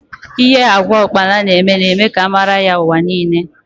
Because of the nutritional value of locust beans it may gain global recognition